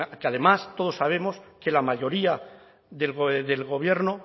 que además todos sabemos que la mayoría del gobierno